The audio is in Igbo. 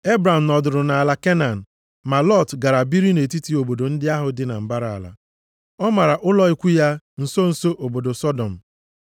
Ebram nọdụrụ nʼala Kenan, ma Lọt gara biri nʼetiti obodo ndị ahụ dị na mbara ala. Ọ mara ụlọ ikwu ya nso nso obodo Sọdọm.